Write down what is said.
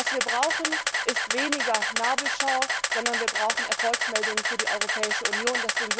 Was wir brauchen, ist weniger Nabelschau, sondern Erfolgsmeldungen für die Europäische Union.